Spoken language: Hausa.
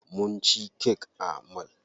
Mu ci kek a mall.